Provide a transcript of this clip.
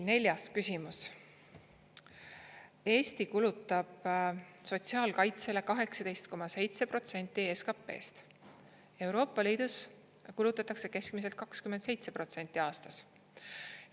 Neljas küsimus: "Eesti kulutab sotsiaalkaitsele 18,7% SKP-st, ELi kulutab keskmiselt 27% aastas.